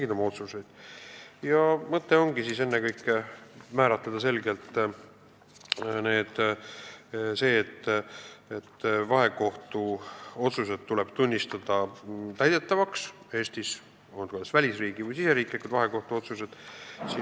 Eelnõu mõte ongi selgelt sätestada, et vahekohtu otsused tuleb Eestis täidetavaks tunnistada, olgu tegu välisriigi või Eesti vahekohtu otsustega.